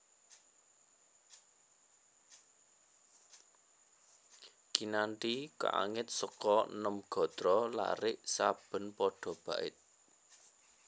Kinanthi kaangit seka nem gatra larik saben pada bait